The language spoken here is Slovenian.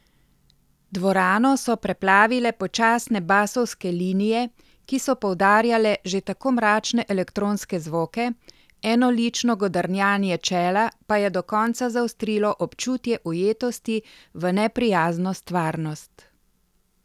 Dvorano so preplavile počasne basovske linije, ki so poudarjale že tako mračne elektronske zvoke, enolično godrnjanje čela pa je do konca zaostrilo občutje ujetosti v neprijazno stvarnost.